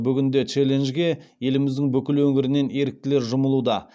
бүгінде челленджге еліміздің бүкіл өңірінен еріктілер жұмылуда